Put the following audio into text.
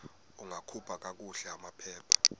ungakhupha kakuhle amaphepha